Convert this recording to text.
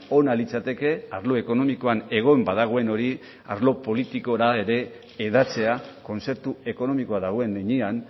ona litzateke arlo ekonomikoan egon badagoen hori arlo politikora ere hedatzea kontzeptu ekonomikoa dagoen heinean